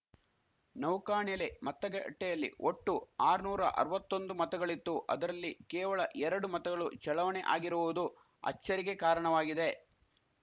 ನೌಕಾಣೆಲೆ ಮತಗಟ್ಟೆಯಲ್ಲಿ ಒಟ್ಟು ಆರುನೂರ ಅರವತ್ತೊಂದು ಮತಗಳಿತ್ತು ಅದರಲ್ಲಿ ಕೇವಳ ಎರಡು ಮತಗಳು ಚಳಾವಣೆ ಆಗಿರುವುದು ಅಚ್ಚರಿಗೆ ಕಾರಣವಾಗಿದೆ